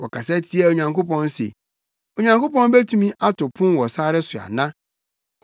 Wɔkasa tiaa Onyankopɔn se, “Onyankopɔn betumi ato pon wɔ sare so ana?